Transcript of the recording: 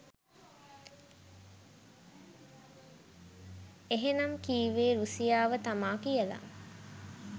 එහෙනම් කිව්වෙ රුසියාව තමා කියලා?